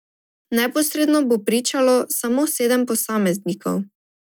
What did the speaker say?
Neposredno bo pričalo samo sedem posameznikov.